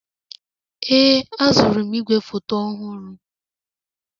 Ee, azụrụ m igwefoto ọhụrụ.